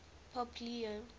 pope leo